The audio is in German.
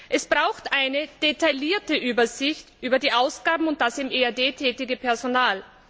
Es bedarf einer detaillierten Übersicht über die Ausgaben und das im EAD tätige Personal.